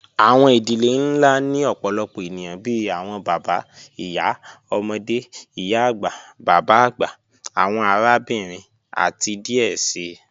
Awọn idilẹ̀ nlá ni ọ̀pọ̀lọpọ̀ ènìyàn bíi awọn bàbá, ìyá, ọmọde, ìyá-agba, bàbá-agba, awọn àràbìnrin, àti díẹ̀ sí.